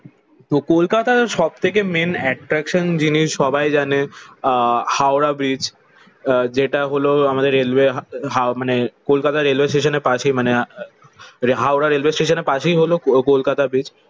তো কলকাতার সব থেকে মেইন এট্রাকশন জিনিস সবাই জানে আহ হাওড়া ব্রিজ। আহ যেটা হলো আমাদের রেলওয়ে মানে কলকাতা রেলওয়ে স্টেশনের পাশে মানে হাওড়া রেলওয়ে স্টেশনের পাশেই হলো কলকাতা ব্রিজ।